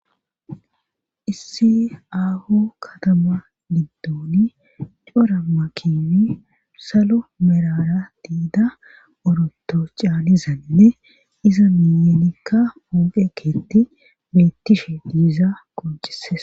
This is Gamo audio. issi aaho katama giddooni cora makini salo merara diida oroto caanizanine iza miyenikka pooqe keeti bettishe diiza qoncises